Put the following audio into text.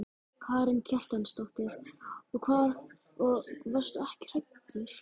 Karen Kjartansdóttir: Og varstu ekki hræddur?